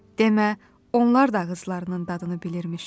Demə, onlar da ağızlarının dadını bilirmiş.